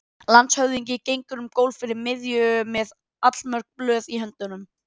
Það var eitthvað um hana hjá foreldrum veiku barnanna á deildinni hjá